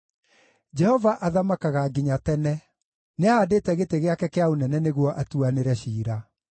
Jehova athamakaga nginya tene; nĩahaandĩte gĩtĩ gĩake kĩa ũnene nĩguo atuanĩre ciira.